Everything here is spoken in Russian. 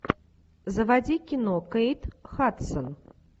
заводи кино кейт хадсон